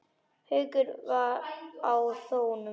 Gaukur var á þönum.